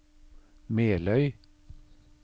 Meløy